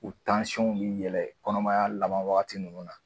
U tansɔnw bi yɛlɛ kɔnɔmaya laban wagati nunnu na